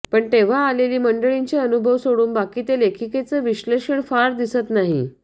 पण तेंव्हा आलेली मंडळींचे अनुभव सोडून बाकी लेखिकेचं विश्लेषण फारं दिसत नाही